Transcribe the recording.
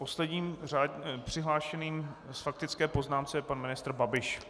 Posledním přihlášeným k faktické poznámce je pan ministr Babiš.